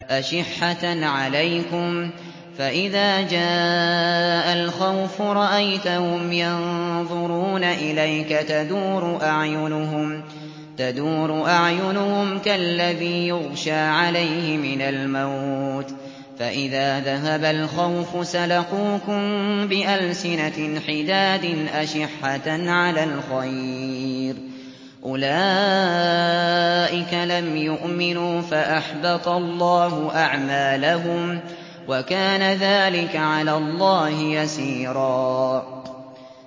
أَشِحَّةً عَلَيْكُمْ ۖ فَإِذَا جَاءَ الْخَوْفُ رَأَيْتَهُمْ يَنظُرُونَ إِلَيْكَ تَدُورُ أَعْيُنُهُمْ كَالَّذِي يُغْشَىٰ عَلَيْهِ مِنَ الْمَوْتِ ۖ فَإِذَا ذَهَبَ الْخَوْفُ سَلَقُوكُم بِأَلْسِنَةٍ حِدَادٍ أَشِحَّةً عَلَى الْخَيْرِ ۚ أُولَٰئِكَ لَمْ يُؤْمِنُوا فَأَحْبَطَ اللَّهُ أَعْمَالَهُمْ ۚ وَكَانَ ذَٰلِكَ عَلَى اللَّهِ يَسِيرًا